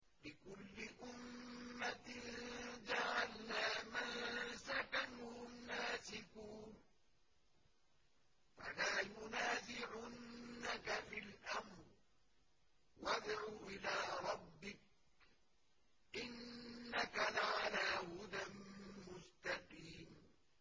لِّكُلِّ أُمَّةٍ جَعَلْنَا مَنسَكًا هُمْ نَاسِكُوهُ ۖ فَلَا يُنَازِعُنَّكَ فِي الْأَمْرِ ۚ وَادْعُ إِلَىٰ رَبِّكَ ۖ إِنَّكَ لَعَلَىٰ هُدًى مُّسْتَقِيمٍ